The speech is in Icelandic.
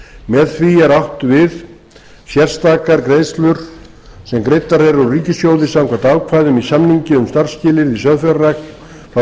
með því er átt við sérstakar greiðslur sem greiddar eru úr ríkissjóði samkvæmt ákvæði í samningi um starfsskilyrði í sauðfjárrækt frá